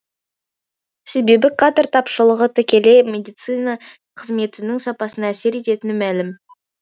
себебі кадр тапшылығы тікелей медицина қызметінің сапасына әсер ететіні мәлім